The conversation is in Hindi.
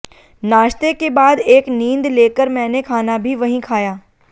नाश्ते के बाद एक नींद लेकर मैंने खाना भी वहीं खाया